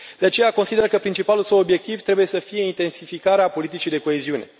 De aceea consider că principalul său obiectiv trebuie să fie intensificarea politicii de coeziune.